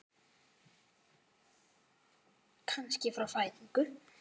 Kannski frá fæðingu.